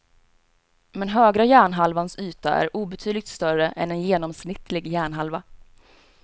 Men högra hjärnhalvans yta är obetydligt större än en genomsnittlig hjärnhalva.